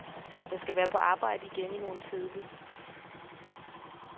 Jeg skal være på arbejde igen i morgen tidlig.